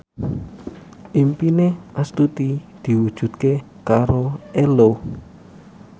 impine Astuti diwujudke karo Ello